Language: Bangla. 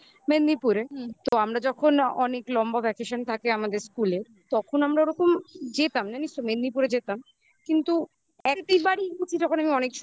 মেদিনীপুরে. হুম. তো আমরা যখন অনেক লম্বা vacation থাকে আমাদের school এ. তখন আমরা ওরকম যেতাম না. নিশ্চয়ই মেদিনীপুরে যেতাম কিন্তু একেবারেই বুঝি যখন আমি অনেক